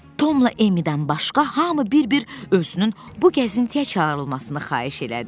Tomla Emmidən başqa hamı bir-bir özünün bu gəzintiyə çağırılmasını xahiş elədi.